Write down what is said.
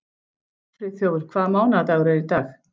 Friðþjófur, hvaða mánaðardagur er í dag?